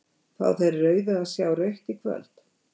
Fá þeir rauðu að sjá rautt í kvöld?